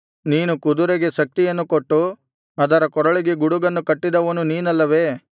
ನೀನು ಕುದುರೆಗೆ ಶಕ್ತಿಯನ್ನು ಕೊಟ್ಟು ಅದರ ಕೊರಳಿಗೆ ಗುಡುಗನ್ನು ಕಟ್ಟಿದವನು ನಿನಲ್ಲವೇ